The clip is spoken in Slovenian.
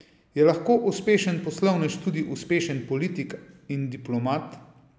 Je lahko uspešen poslovnež tudi uspešen politik in diplomat?